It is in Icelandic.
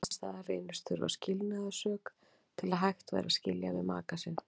Annars staðar reynist þurfa skilnaðarsök til að hægt væri að skilja við maka sinn.